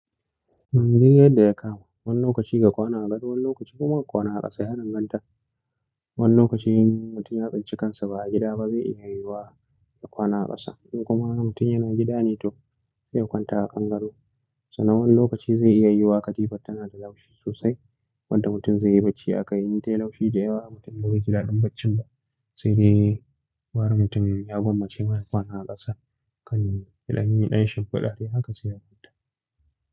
Duk yanda ya kama, wani lokaci ka kwana a gado wani lokaci kuma ka kwana a ƙasa yadanganta. Wani lokaci in mutum ya tsinci kansa ba a gida ba zai iya yiwuwa ya kwana a ƙasa. Kuma wani mutum yana gida ne to sai ya kwanta a ƙan gado. Sannan wani lokaci zai iya yiwuwa ƙatifar tana da laushi sosai wanda mutum zai yi bacci akai in ta yi laushi da yawa mutum ba zai ji daɗin baccin ba. Sai dai gwara mutum ya gwammace ma ya kwana a ƙasa kan ya danyi ɗan shinfiɗa dai haka sai a kwanta.